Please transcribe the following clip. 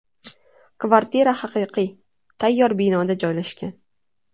Kvartira haqiqiy, tayyor binoda joylashgan.